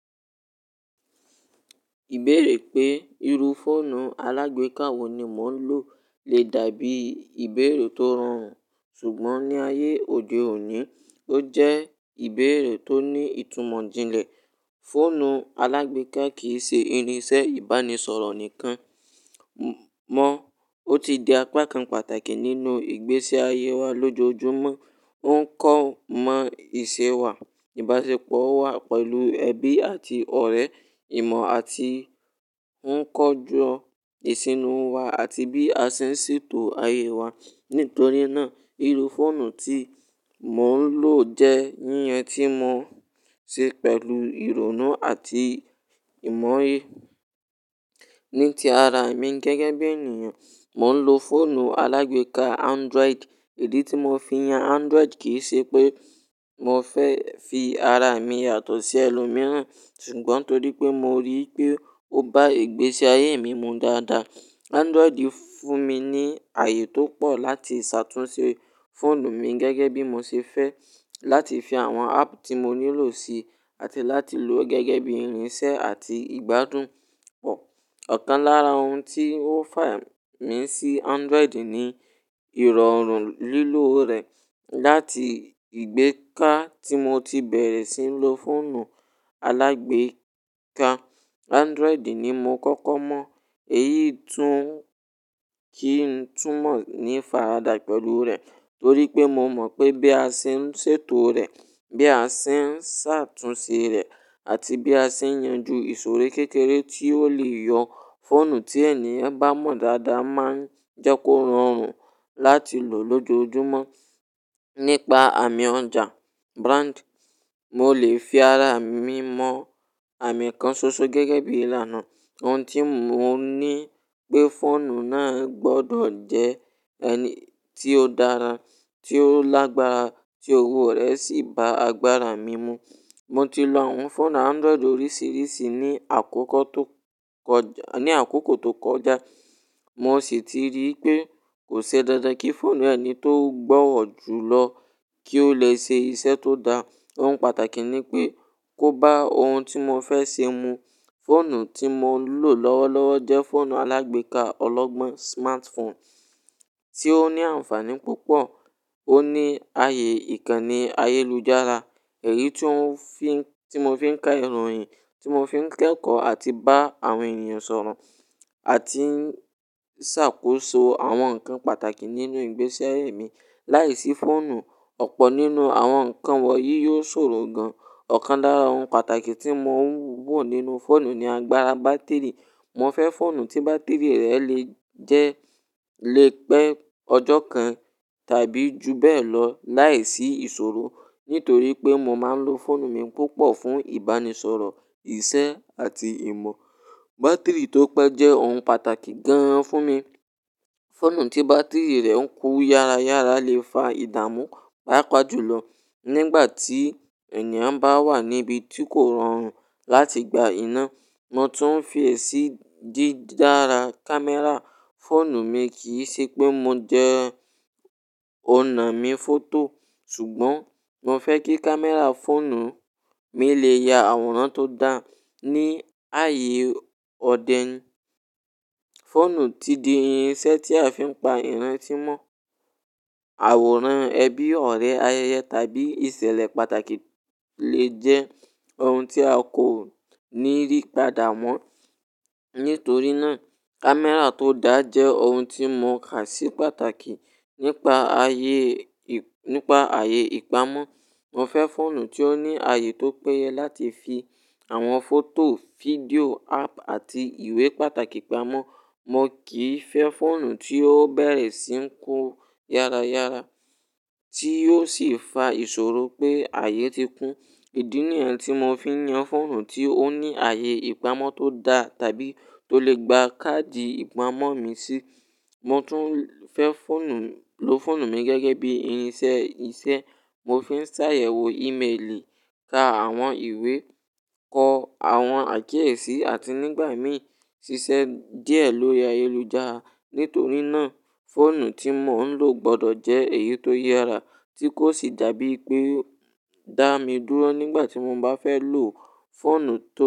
Ìbéèrè pé irú fóònù alágbèéká wo ni mò ń lò lè dàbí ìbéèrè tó rọrùn, ṣùgbọ́n ní ayé òde òní, ó jẹ́ ìbéèrè tó ní ìtumọ̀ díẹ̀. Fóònù alágbèéká kì í ṣe irinṣẹ́ ìbánisọ̀rọ̀ nìkan mọ́, ó ti di apá kan pàtàkì nínú ìgbésí ayé wa lójoojúmọ́. Ó ń kọ́ ń mọ ìṣe wa, ìbáṣepọ̀ wa pẹ̀lú ẹbí àti ọ̀rẹ́, ìmọ̀ àti ń kọjú ìṣúná wa àti bí a ṣe ń ṣètò ayé wa. Nítorí náà, irú fóònù tí mò ń lò jẹ́ yíyan tí mo ṣe pẹ̀lú ìrònú àti ìmọye. Ní ti ara mi gẹ́gẹ́ bí ènìyàn, mò ń lo fóònù alágbèéká Android. Èdè tí mo fi yan Android kì í ṣe pé mo fẹ́ fi ara mi yàtọ̀ sí ẹni mìíràn, ṣùgbọ́n torí pé mo rí i pé ó bá ìgbésí ayé mi mu dáadáa. Android fún mi ní ààyè tó pọ̀ láti ṣàtúnṣe fóònù mi gẹ́gẹ́ bí mo ṣe fẹ́, láti fi àwọn app tí mo nílò sí, àti láti lò ó gẹ́gẹ́ bí irinṣẹ́ àti ìgbádùn. Ọ̀kan lára ohun tí ó fẹ́ mi sí Android ni ìrọ̀rùn lílò rẹ̀. Láti ìgbèéká tí mo ti bẹ̀rẹ̀ sí ń lo fóònù alágbèéká, Android ni mo kọ́kọ́ mọ̀. Èyí tún kí n túmọ̀ ní fára dà pẹ̀lú rẹ̀ torí pé mo mọ̀ pé bí a ṣe ń ṣètò rẹ̀, bí a ṣe ń ṣàtúnṣe rẹ̀, àti bí a ṣe ń yanju ìṣòro kékeré tí ó lè yọ fóònù tí ẹni bá mọ̀ dáadáa máa ń jẹ́ kó rọrùn láti lò lójoojúmọ́. Nípa àmì ọjà brand, mo lè fi ara mi mọ àmì kan ṣoṣo gẹ́gẹ́ bí ìlànà ohun tí mò ń ní pé fóònù náà gbọdọ̀ jẹ́ ẹni tí ó dára, tí ó lágbára, tí owó rẹ̀ sì bá agbára mi mu. Mo ti lo àwọn fóònù Android oríṣiríṣi ní àkókò tó kọjá, mo sì ti rí pé kò ṣe dandan kí fóònù ẹni tó gbọ́wọ̀ jù lọ kí ó lè ṣe iṣẹ́ tó dáa. Ohun pàtàkì ni pé kó bá ohun tí mo fẹ́ ṣe mu. Fóònù tí mo ń lò lọ́wọ́lọ́wọ́ jẹ́ fóònù alágbèéká ọlọ́gbọ́n smartphone tí ó ní ànfàní púpọ̀. Ó ní ààyè ìkànnì ayélujára, ẹ̀rí tí mo fi ń ka ìròyìn, tí mo fi ń kẹ́kọ̀ọ́ àti bá àwọn ènìyàn sọ̀rọ̀, àti ń ṣàkóso àwọn nǹkan pàtàkì nínú ìgbésẹ́ mi. Láìsí fóònù, ọ̀pọ̀ nínú àwọn nǹkan wọ̀nyí yóò ṣòro gan. Ọ̀kan lára ohun pàtàkì tí mò ń wò nínú fóònù ni agbára bátìrì. Mo fẹ́ fóònù tí bátìrì rẹ̀ lè jẹ́ lè pẹ́ ọjọ́ kan tàbí ju bẹ́ẹ̀ lọ láìsí ìṣòro. Nítorí pé mo máa ń lo fóònù mi púpọ̀ fún ìbánisọ̀rọ̀, iṣẹ́ àti ìmọ̀, bátìrì tó pẹ́ jẹ́ ohun pàtàkì gan-an fún mi. Fóònù tí bátìrì rẹ̀ ń kú yára yára lè fa ìdààmú bápa jùlọ nígbà tí ènìyàn bá wà níbi tí kò rọrùn láti gba iná. Mo tún ń fi èsì dídára kámẹ́rà fóònù mi. Kì í ṣe pé mo jẹ́ onamífòtò, ṣùgbọ́n mo fẹ́ kí kámẹ́rà fóònù mi lè ya àwòrán tó dáa. Ní ààyè òde òní, fóònù ti di irinṣẹ́ tí a fi ń pa ìrántí mọ́. Àwòrán ẹbí, ọ̀rẹ́, ayẹyẹ tàbí ìṣẹ̀lẹ̀ pàtàkì lè jẹ́ ohun tí a kò ní rí padà mọ́. Nítorí náà, kámẹ́rà tó dáa jẹ́ ohun tí mo kà sí pàtàkì. Nípa ààyè ìpamọ́, mo fẹ́ fóònù tí ó ní ààyè tó péye láti fi àwọn fọ́tò, fídíò, app àti ìwé pàtàkì pamọ́. Mo kì í fẹ́ fóònù tí ó bẹ̀rẹ̀ sí ń kú yára yára tí ó sì fa ìṣòro pé ààyè ti kún. Èdè nìyẹn tí mo fi ń yan fóònù: tí ó ní ààyè ìpamọ́ tó dáa tàbí tó lè gba káàdì ìpamọ́ mi sí. Mo tún fẹ́ lo fóònù mi gẹ́gẹ́ bí irinṣẹ́ iṣẹ́. Mo fi ń ṣàyẹ̀wò ímeèlì, ka àwọn ìwé, kọ àwọn àkíyèsí, àti nígbà mìí ṣiṣẹ́ díẹ̀ lórí ayélujára. Nítorí náà, fóònù tí mò ń lò gbọdọ̀ jẹ́ èyí tó yára tí kò sì dàbí pé ó dá mi dúró nígbà tí mo bá fẹ́ lò fóònù tán.